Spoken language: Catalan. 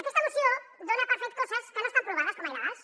aquesta moció dona per fetes coses que no estan provades com a il·legals